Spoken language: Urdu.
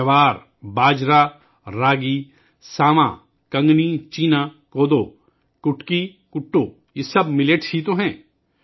جوار، باجرہ، راگی، ساواں ، کنگنی، سینا، کوڈو، کٹکی، کٹو، یہ سب موٹے اناج ہی تو ہیں